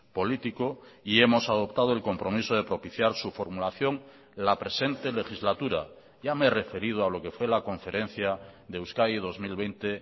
político y hemos adoptado el compromiso de propiciar su formulación la presente legislatura ya me he referido a lo que fue la conferencia de euskadi dos mil veinte